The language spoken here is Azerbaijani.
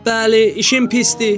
Bəli, işim pisdir.